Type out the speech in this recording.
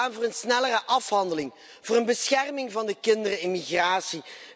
Wij staan voor een snellere afhandeling, voor een bescherming van de kinderen in migratie.